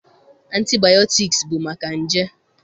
Antibayọtiks bụ maka nje.